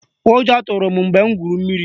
Ụjọ tụrụ m mgbe m gwuru mmiri